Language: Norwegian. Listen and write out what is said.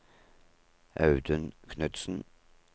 Audun Knudsen